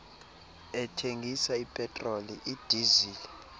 ethengisa ipetroli idizili